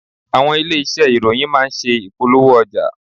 Àwọn ilé-iṣé ìròyìn má ń ṣe ìpolówó ọjà.